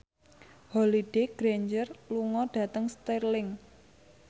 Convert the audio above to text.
Holliday Grainger lunga dhateng Stirling